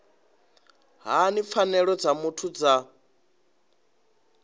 hani pfanelo dza muthu dza